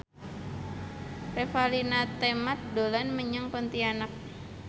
Revalina Temat dolan menyang Pontianak